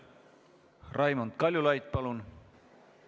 Raimond Kaljulaid, palun!